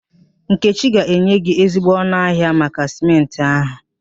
Nkechi ga-enye gị ezigbo ọnụ ahịa maka Sịmentị ahụ